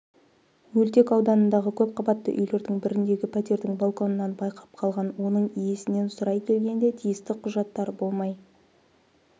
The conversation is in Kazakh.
мөлтекауданындағы көпқабатты үйлердің біріндегі пәтердің балконынан байқап қалған оның иесінен сұрай келгенде тиісті құжаттар болмай